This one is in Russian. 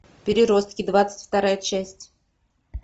переростки двадцать вторая часть